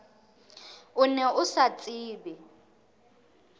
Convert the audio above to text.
o ne o sa tsebe